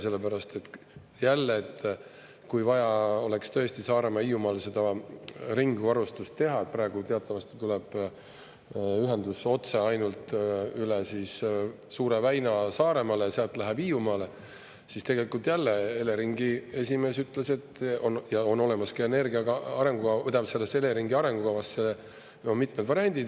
Sellepärast, et jälle, kui vaja oleks tõesti Saaremaal, Hiiumaal seda ringvarustust teha – praegu teatavasti tuleb ühendus otse ainult üle Suure väina Saaremaale ja sealt läheb Hiiumaale –, siis tegelikult jälle Eleringi esimees ütles, et on olemas ka Eleringi arengukavas mitmed variandid.